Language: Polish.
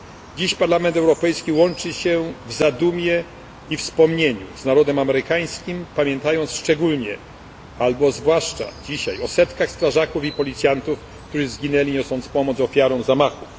Dziś Parlament Europejski łączy się w zadumie i wspomnieniu z narodem amerykańskim, pamiętając szczególnie, albo zwłaszcza dzisiaj o setkach strażaków i policjantów, którzy zginęli niosąc pomoc ofiarom zamachów.